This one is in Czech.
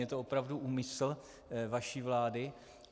Je to opravdu úmysl vaší vlády?